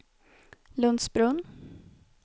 Lundsbrunn